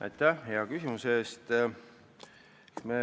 Aitäh hea küsimuse eest!